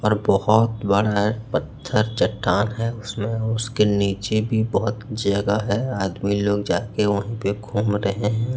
और बहोत बड़ा पत्थर चट्टान है उसमे उसके नीचे भी बहोत जगह है आदमी लोग जाके वही पे घूम रहे है।